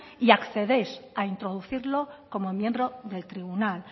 y accedéis a introducirlo como miembro del tribunal